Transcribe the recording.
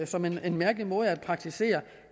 som en mærkelig måde at praktisere